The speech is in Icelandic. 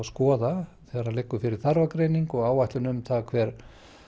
skoða þegar liggur fyrir þarfagreining og áætlun um hvað